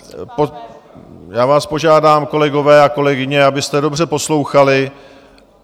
Já vás požádám, kolegové a kolegyně, abyste dobře poslouchali.